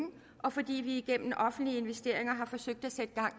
og fordi vi igennem offentlige investeringer har forsøgt at sætte gang